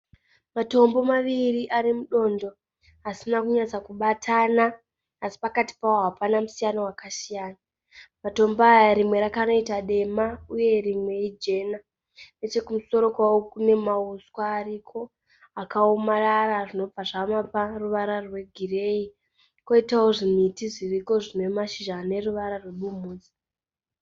Matombo maviri ari mudondo asina kunyatsa kubatana asi pakati pavo hapana musiyano wakasiyana. Matombo aya rimwe rakanoita dema uye rimwe ijena. Nechekumusoro kwawo kune mauswa ariko akaomarara zvinobva zvamapa ruvara rwegireyi. Kwoitawo zvimiti zviriko zvine mashizha ane ruvara rwebumhudza.